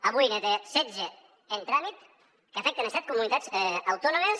avui ne té setze en tràmit que afecten set comunitats autònomes